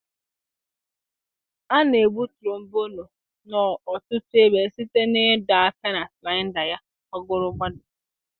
A na-egbu trombonụ n'ọtụtụ ebe site n'ịdo aka na slaịda ya gbagọrọ gbadaa.